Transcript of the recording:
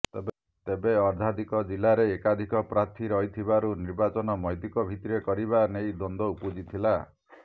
ତେବେ ଅର୍ଦ୍ଧାଧିକ ଜିଲାରେ ଏକାଧିକ ପ୍ରାର୍ଥୀ ରହିଥିବାରୁ ନିର୍ବାଚନ ମତୈକ ଭିତିରେ କରିବା ନେଇ ଦ୍ୱନ୍ଦ୍ୱ ଉପୁଜିଥିଲା